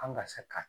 An ka se ka